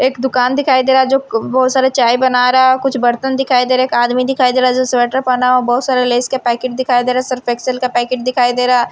एक दुकान दिखाई दे रहा है जो क बहुत सारे चाय बना रहा है और कुछ बर्तन दिखाई दे रहा है एक आदमी दिखाई दे रहा है जो स्वेटर पेहना हुआ है बहुत सारे लेज के पैकेट दिखाई दे रहे सर्फ एक्सेल का पैकेट दिखाई दे रहा --